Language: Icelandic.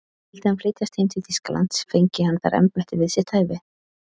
Vildi hann flytjast heim til Þýskalands, fengi hann þar embætti við sitt hæfi.